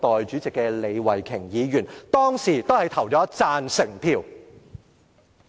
上述議員當時均投了贊成票。